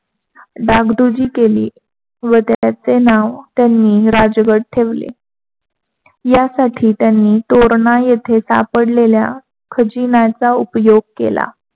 डागडुजी केली त्याचे नाव त्यांनी राजगड ठेवले. यासाठी तोरणा येथे सापडलेल्या खजिन्याचा उपयोग केला.